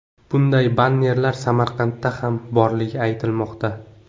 Bunday bannerlar Samarqandda ham borligi aytilmoqda.